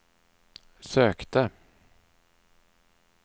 sökte